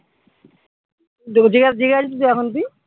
দুদিগে জিগাইছিস এখন তুই?